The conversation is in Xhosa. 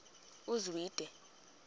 uzwide